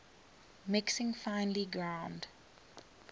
mixing finely ground